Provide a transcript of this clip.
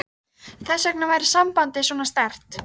Melkólmur, hvað er í dagatalinu í dag?